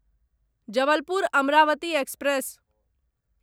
Jabalpur Amravati express